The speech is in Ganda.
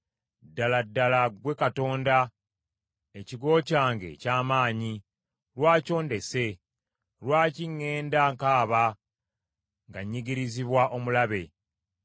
Ddala ddala ggwe Katonda, ekigo kyange eky’amaanyi. Lwaki ondese? Lwaki ŋŋenda nkaaba nga nnyigirizibwa omulabe?